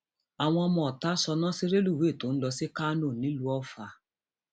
àwọn ọmọọta sọnà sí rélùwéè tó ń lọ sí kánò nílùú ọfà